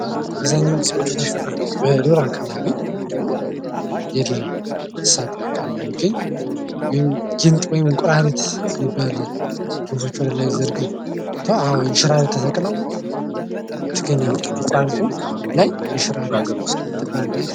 አብዛኛውን ጊዜ በዱር አካባቢ እንዲሁም የዱር እንሰሳ አካባቢ የሚገኝ ጊንጥ ወይም እንቁራሪት የሚባል ክንፎቹን ወደላይ ዘርግቶ አወ እንሽራሪት ተሰቅላው ይገኛል እንቁራሪቱ ላይ እንሽራሪት